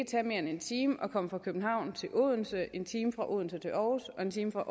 tage mere end en time at komme fra københavn til odense en time fra odense til aarhus og en time fra